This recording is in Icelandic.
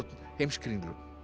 Heimskringlu